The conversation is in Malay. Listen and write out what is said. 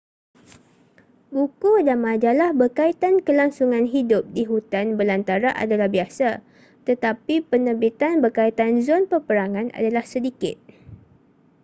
buku dan majalah berkaitan kelangsungan hidup di hutan belantara adalah biasa tetapi penerbitan berkaitan zon peperangan adalah sedikit